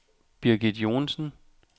Birgit Joensen